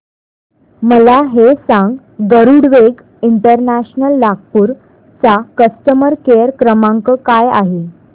मला हे सांग गरुडवेग इंटरनॅशनल नागपूर चा कस्टमर केअर क्रमांक काय आहे